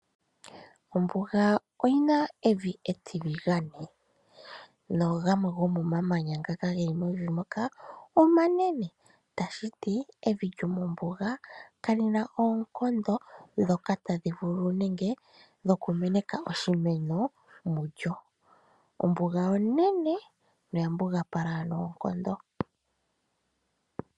Ombuga oyi na evi etiligane nogamwe gomomamanya ngaka geli mevi moka omanene, tashi ti evi lyomombuga kali na oonkondo ndhoka tadhi vulu nenge dhoku meneka oshimeno mulyo. Ombuga onene noyambugapala noonkondo.